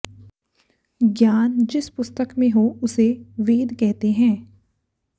ज्ञान जिस पुस्तक में हो उसे वेद कहते है